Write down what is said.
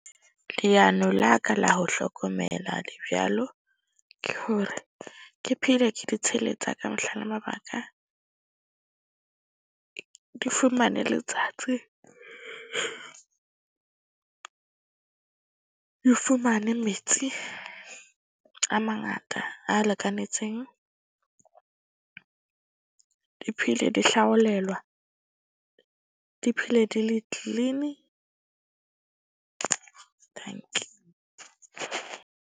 Leano la ka la ho hlokomela dibjalo ke hore ke phele, ke di . Di fumane letsatsi di fumane metsi a mangata a lekanetseng. Di phele, di hlaolelwa. Di phele di le clean-i. Dankie.